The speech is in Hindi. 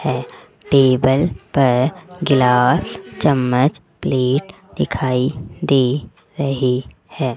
है टेबल पर ग्लास चम्मच प्लेट दिखाई दे रहे है।